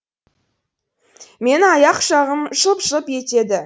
менің аяқ жағым шылп шылп етеді